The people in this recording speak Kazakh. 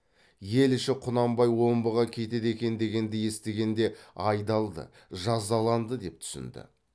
ел іші құнанбай омбыға кетеді екен дегенді естігенде айдалды жазаланды деп түсінді